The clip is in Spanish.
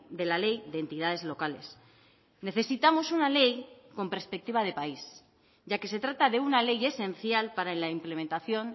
de la ley de entidades locales necesitamos una ley con perspectiva de país ya que se trata de una ley esencial para la implementación